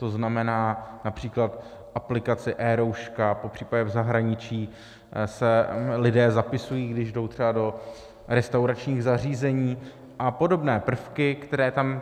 To znamená například aplikaci eRouška, popřípadě v zahraničí se lidé zapisují, když jdou třeba do restauračních zařízení a podobné prvky, které tam...